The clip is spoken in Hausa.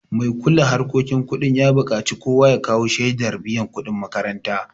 Mai kula harkokin kudin ya buƙaci kowa ya kawo shaidar biyan kuɗin makaranta